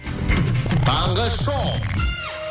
таңғы шоу